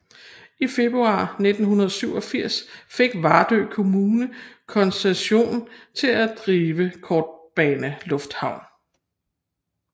I februar 1987 fik Vardø Kommune koncession til drive kortbanelufthavn